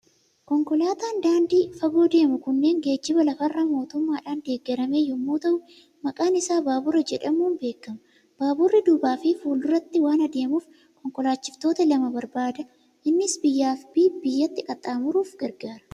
Konkolaataan daandii fagoo deemu kunneen geejjiba lafa irraa mootummaadhaan deeggarame yommuu ta'u, maqaan isaa baabura jedhamuun beekama. Baaburri duubaa fi fuula duratti waan adeemuf, kinkolaachiftoota lama barbaada. Innis biyyaa fi biyyatti qaxxaamuruuf gargaara.